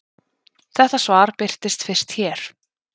Þetta svar birtist fyrst hér.